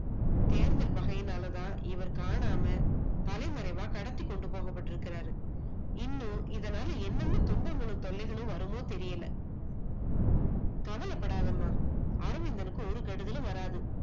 தேர்தல் பகையினாலதான் இவர் காணாம தலைமறைவா கடத்தி கொண்டு போகப்பட்டு இருக்காரு, இன்னும் இதுனால என்னென்ன துன்பங்களும், தொல்லைகளும் வருமோ தெரியல. கவலைப்படாதமா அரவிந்தனுக்கு ஒரு கெடுதலும் வராது